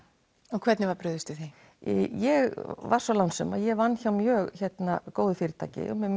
og hvernig var brugðist við því ég var svo lánsöm að ég vann hjá mjög góðu fyrirtæki með